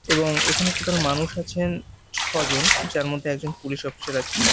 এবং এখানে টোটাল মানুষ আছেন ছজন যার মধ্যে একজন পুলিশ অফিসার আছে।